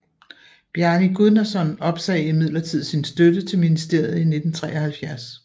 Bjarni Guðnason opsagde imidlertid sin støtte til ministeriet i 1973